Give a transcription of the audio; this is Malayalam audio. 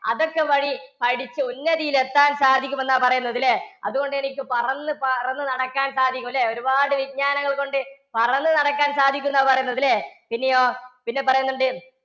അതൊക്കെ വഴി പഠിച്ച് ഉന്നതിയിലെത്താന്‍ സാധിക്കുമെന്നാ പറയുന്നത് ല്ലേ? അതുകൊണ്ടെനിക്ക് പറന്നു പറന്ന് നടക്കാന്‍ സാധിക്കും ല്ലേ? ഒരുപാട് വിജ്ഞാനങ്ങള്‍കൊണ്ട് പറന്നു നടക്കാന്‍ സാധിക്കുംന്നാ പറയുന്നത് ല്ലേ? പിന്നെയോ പിന്നെ പറയുന്നുണ്ട്